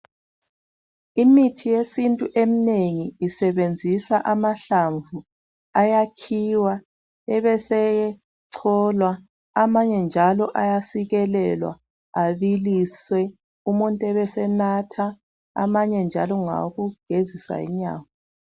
Imithi yesintu eminengi isebenzisa amahlamvu, ayakhiwa ebesecholwa, amanye njalo ayasikelelwa, abiliswe umuntu ebesenatha ,amanye njalo ngowokugezisa inyawo